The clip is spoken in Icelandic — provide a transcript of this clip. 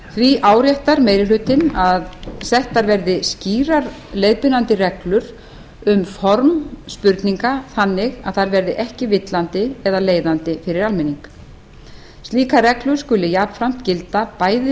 því áréttar meiri hlutinn að settar verði skýrar leiðbeinandi reglur um form spurninga þannig að þær verði ekki villandi eða leiðandi fyrir almenning slíkar reglur skuli jafnframt gilda bæði